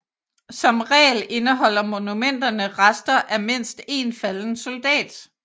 Som regel indeholder monumenterne rester af mindst en falden soldat